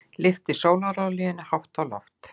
Lyfti sólarolíunni hátt á loft.